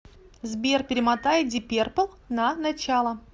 сбер перемотай диперпл на начало